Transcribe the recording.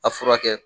A furakɛ